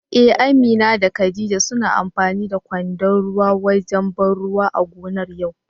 Eh Amina da khadija suna amfani da kwandon ruwa wajen ban ruwa a gonar yau.